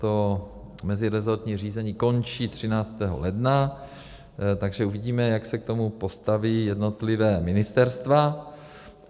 To mezirezortní řízení končí 13. ledna, takže uvidíme, jak se k tomu postaví jednotlivá ministerstva.